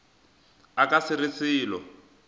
a ka se re selo